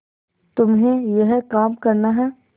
तुम्हें यह काम करना है